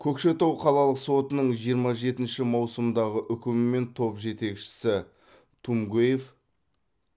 көкшетау қалалық сотының жиырма жетінші маусымдағы үкімімен топ жетекшісі тумгоев